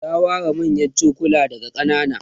ta ware manyan chokulan daga kanana